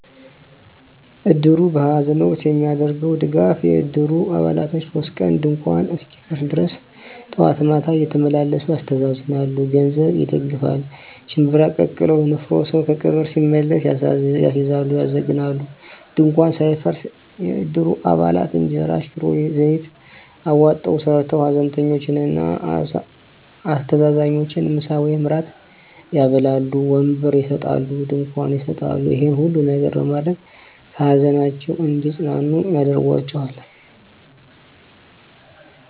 እድሩ በሐዘን ወቅት የሚያደርገዉ ድጋፍ የእድሩ አባላቶች 3 ቀን ድንኳኑ እስኪፈርስ ድረስ ጠዋት ማታ እየተመላለሱ ያስተዛዝናሉ። ገንዘብ ይደግፋል፣ ሽንብራ ቀቅለዉ (ንፍሮ) ሰዉ ከቀብር ሲመለስ ያስይዛሉ(ያዘግናሉ) ፣ ድንኳኑ ሳይፈርስ የእድሩ አባላት እንጀራ፣ ሽሮ፣ ዘይት አዋጠዉ ሰርተዉ ሀዘንተኞችን እና አስተዛዛኞችን ምሳ ወይም እራት ያበላሉ። ወንበር ይሰጣሉ፣ ድንኳን ይሰጣሉ ይሄን ሁሉ ነገር በማድረግ ከሀዘናቸዉ እንዲፅናኑ ያደርጓቸዋል።